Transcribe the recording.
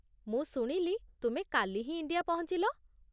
ମୁଁ ଶୁଣିଲି ତୁମେ କାଲି ହିଁ ଇଣ୍ଡିଆ ପହଞ୍ଚିଲ ।